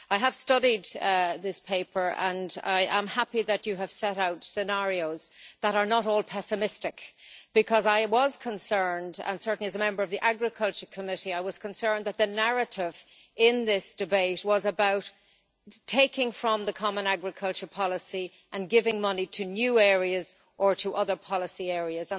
I have studied this paper and I am happy that you have set out scenarios that are not all pessimistic, because I was concerned certainly as a Member of the Committee on Agriculture and Rural Development I was concerned that the narrative in this debate was about taking money from the common agricultural policy and giving it to new areas or to other policy areas.